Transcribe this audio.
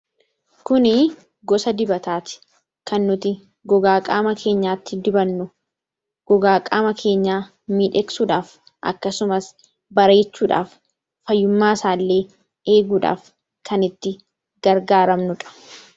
Kunii gosa dibataa ti. Kan nuti gogaa qaama keenyaatti dibannu. Gogaa qaama keenyaa miidhagsuudhaaf akkasumas bareechuudhaaf fayyummaa isaallee eeguudhaaf kan itti gargaaramnu dha.